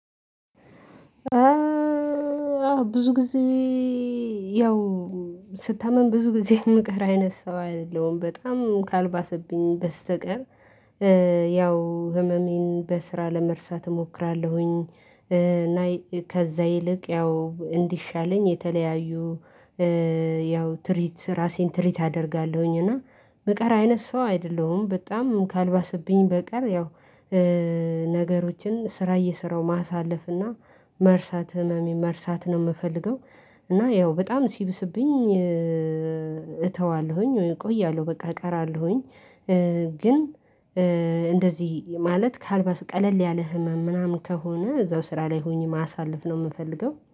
ብዙ ጊዜ ያው ስታምም ብዙ ጊዜ የምቀር አይነት ሰው አይደለም በጣም ካልባሰብኝ በስተቀር። ያው ህመሜን በስራ ለመርሳት እሞክራለሁኝ እና ከዛ ይልቅ ያው እንዲሻለኝ የተለያዩ። ያው ትሪት ራሴን ትሪት አደርጋለሁኝ እና ምቀራ አይነት ሰው አይደለሁም በጣም ካልባሰብኝ በቀር ያው። ነገሮችን ስራ እየሰራሁ ማሳለፍና መርሳት ህመሜን መርሳት ነው የምፈልገው። እና ያው በጣም ሲብስብኝ እተዋለሁኝ እቆያለሁ በቃ እቀራለሁኝ። ግን እንደዚህ ማለት ከአልባሱ ቀለል ያለ ህመም ምናምን ከሆነ እዛው ስራ ላይ ሆኜ ማሳለፍ ነው የምፈልገው